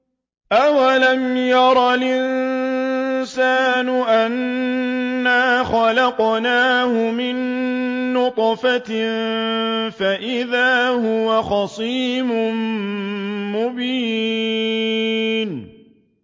أَوَلَمْ يَرَ الْإِنسَانُ أَنَّا خَلَقْنَاهُ مِن نُّطْفَةٍ فَإِذَا هُوَ خَصِيمٌ مُّبِينٌ